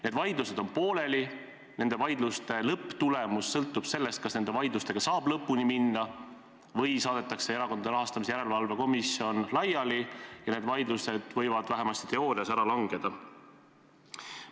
Need vaidlused on pooleli ja nende vaidluste lõpptulemus sõltub sellest, kas nendega saab lõpuni minna või saadetakse Erakondade Rahastamise Järelevalve Komisjon laiali ja need vaidlused võivad vähemasti teoreetiliselt ära langeda.